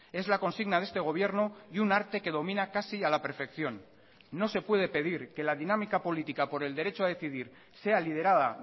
es la consigna de este gobierno y un arte que domina casi a la perfección no se puede pedir que la dinámica política por el derecho a decidir sea liderada